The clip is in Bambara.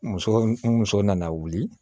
Muso ni muso nana wuli